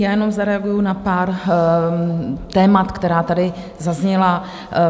Já jenom zareaguji na pár témat, která tady zazněla.